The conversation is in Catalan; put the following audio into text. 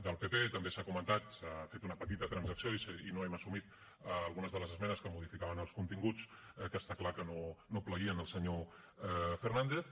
del pp també s’ha comentat s’ha fet una petita transacció i no hem assumit algunes de les esmenes que modificaven els continguts que està clar que no plaïen al senyor fernández